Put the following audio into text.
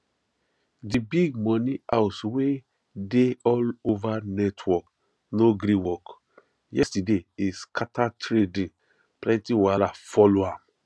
di big money house wey dey all over network no gree work yesterday e scatter trading plenty wahala follow am